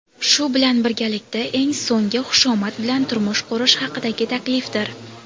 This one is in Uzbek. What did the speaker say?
shu bilan birgalikda eng so‘nggi xushomad bu turmush qurish haqidagi taklifdir.